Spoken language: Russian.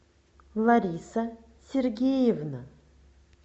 лариса сергеевна